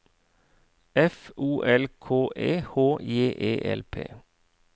F O L K E H J E L P